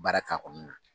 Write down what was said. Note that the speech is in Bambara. Baara k'a kɔnɔna na